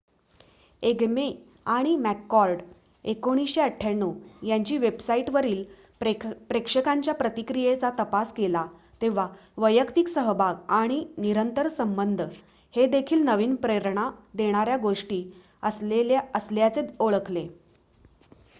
"एग्मे आणि मॅककॉर्ड 1998 यांनी वेबसाईट्सवरील प्रेक्षकांच्या प्रतिक्रियेचा तपास केला तेव्हा "वैयक्तिक सहभाग" आणि "निरंतर संबंध" हे देखील नवीन प्रेरणा देणाऱ्या गोष्टी असल्याचे ओळखले.